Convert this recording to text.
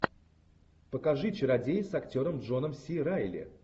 покажи чародеи с актером джоном си райли